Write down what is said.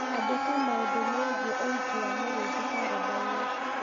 andĩka maũndũ megiĩ ũhiki wa mũrĩithi karenda-inĩ